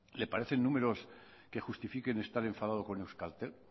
le parece números que justifiquen estar enfadados con euskaltel